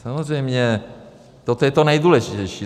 Samozřejmě toto je to nejdůležitější.